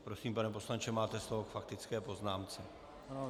Prosím, pane poslanče, máte slovo k faktické poznámce.